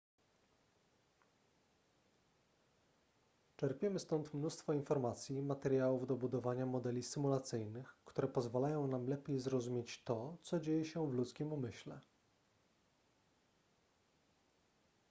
czerpiemy stąd mnóstwo informacji i materiałów do budowania modeli symulacyjnych które pozwalają nam lepiej zrozumieć to co dzieje się w ludzkim umyśle